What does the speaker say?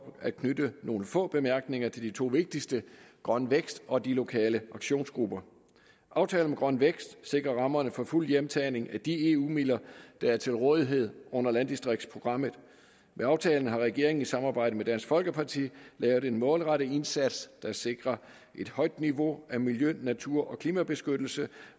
at knytte nogle få bemærkninger til de to vigtigste grøn vækst og de lokale aktionsgrupper aftalen om grøn vækst sikrer rammerne for fuld hjemtagning af de eu midler der er til rådighed under landdistriktsprogrammet med aftalen har regeringen i samarbejde med dansk folkeparti lavet en målrettet indsats der sikrer et højt niveau af miljø natur og klimabeskyttelse